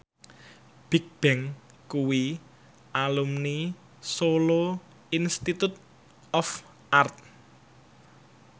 Bigbang kuwi alumni Solo Institute of Art